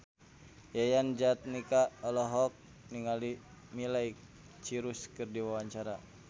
Yayan Jatnika olohok ningali Miley Cyrus keur diwawancara